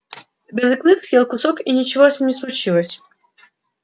белый клык съел кусок и ничего с ним не случилось